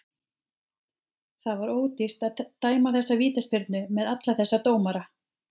Það var ódýrt að dæma þessa vítaspyrnu með alla þessa dómara.